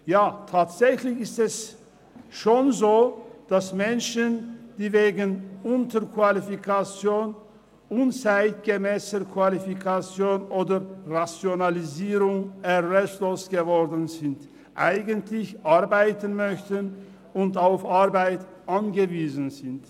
Ja, tatsächlich ist es schon so, dass Menschen, die wegen Unterqualifikation, unzeitgemässer Qualifikation oder Rationalisierung erwerbslos geworden sind, eigentlich arbeiten möchten und auf Arbeit angewiesen sind.